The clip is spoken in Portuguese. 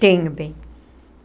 Tenho, bem.